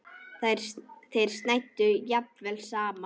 Þeir snæddu jafnvel saman.